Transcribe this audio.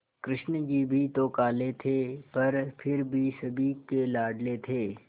कृष्ण जी भी तो काले थे पर फिर भी सभी के लाडले थे